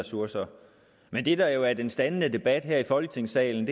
ressourcer men det der jo er den standende debat her i folketingssalen